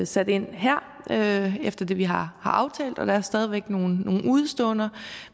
sat ind her efter det vi har aftalt der er stadig væk nogle udeståender